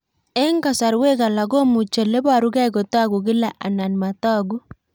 Eng'kasarwek alak komuchi ole parukei kotag'u kila anan matag'u